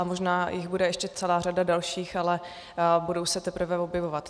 A možná jich bude ještě celá řada dalších, ale budou se teprve objevovat.